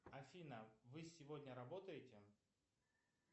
афина вы сегодня работаете